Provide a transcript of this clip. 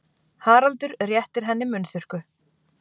Haraldur réttir henni munnþurrku.